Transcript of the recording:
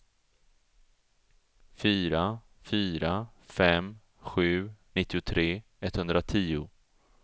fyra fyra fem sju nittiotre etthundratio